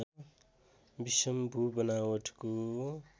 विषम भूबनावटको